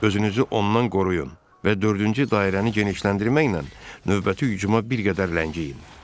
Özünüzü ondan qoruyun və dördüncü dairəni genişləndirməklə növbəti hücuma bir qədər ləngiyin.